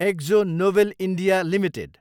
exo Nobel India Ltd